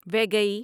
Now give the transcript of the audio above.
ویگئی